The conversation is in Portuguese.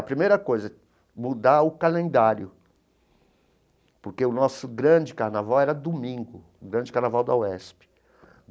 A primeira coisa mudar o calendário, porque o nosso grande carnaval era domingo, o grande carnaval da UESP.